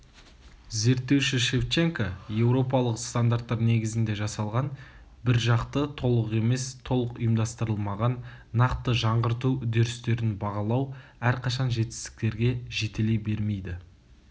зерттеуші шевченко еуропалық стандарттар негізінде жасалған біржақты толық емес толық ұйымдастырылмаған нақты жаңғырту үдерістерін бағалау әрқашан жетістіктерге жетелей бермеді